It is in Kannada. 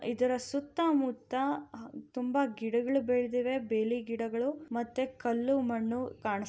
ಇದರ ಸುತ್ತಮುತ್ತ ತುಂಬ ಗಿಡಗಳು ಬೆಳೆದಿವೆ. ಬೆಳೆ ಗಿಡಗಳು ಮತ್ತೆ ಕಲ್ಲು ಮಣ್ಣು ಕಾಣುತ್ತಿದೆ.